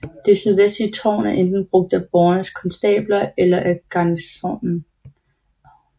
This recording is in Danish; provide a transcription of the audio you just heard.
Det sydvestlige tårn er enten brugt af borgens konstabler eller af garnisonen